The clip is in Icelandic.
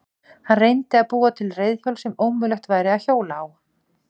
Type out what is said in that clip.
Hann reyndi að búa til reiðhjól sem ómögulegt væri að hjóla á.